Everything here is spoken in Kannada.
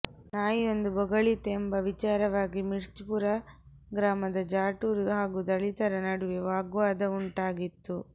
ನಾಯಿಯೊಂದು ಬೊಗಳಿತೆಂಬ ವಿಚಾರವಾಗಿ ಮಿರ್ಚ್ಪುರ ಗ್ರಾಮದ ಜಾಟರು ಹಾಗೂ ದಲಿತರ ನಡುವೆ ವಾಗ್ವಾದವುಂಟಾಗಿತ್ತು